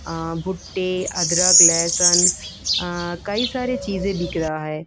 अ भुट्टे अदरकलैसन कई सारी चीजें बिक रहा है।